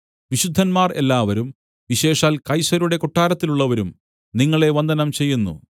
വിശുദ്ധന്മാർ എല്ലാവരും വിശേഷാൽ കൈസരുടെ കൊട്ടാരത്തിലുള്ളവരും നിങ്ങളെ വന്ദനം ചെയ്യുന്നു